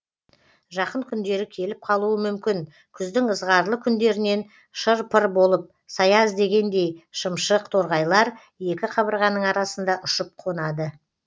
жақын күндері келіп қалуы мүмкін күздің ызғарлы күндерінен шыр пыр болып сая іздегендей шымшық торғайлар екі қабырғаның арасында ұшып қонады